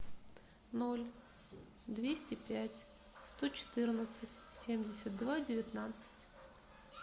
ноль двести пять сто четырнадцать семьдесят два девятнадцать